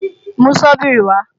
Mú Sọ́bíìrì wa!